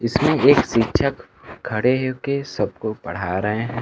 इसमें एक शिक्षक खड़े हो के सबको पढ़ा रहे हैं।